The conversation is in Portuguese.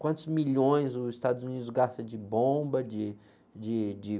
Quantos milhões os Estados Unidos gastam de bomba, de, de, de...